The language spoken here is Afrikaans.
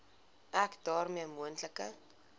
ek daarmee moontlike